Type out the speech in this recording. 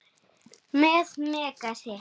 Með Megasi.